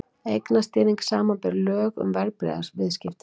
Eignastýring, samanber lög um verðbréfaviðskipti.